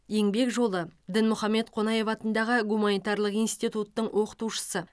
еңбек жолы дінмұхаммед қонаев атындағы гуманитарлық институттың оқытушысы